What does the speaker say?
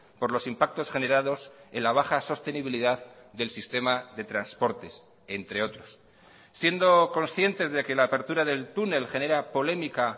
por los impactos generados en la baja sostenibilidad del sistema de transportes entre otros siendo conscientes de que la apertura del túnel genera polémica